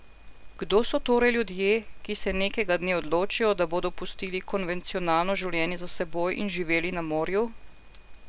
Kdo so torej ljudje, ki se nekega dne odločijo, da bodo pustili konvencionalno življenje za seboj in živeli na morju?